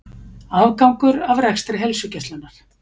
Afgangur af rekstri Heilsugæslunnar